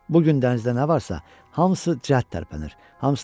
Bu gün dənizdə nə varsa, hamısı cəld tərpənir.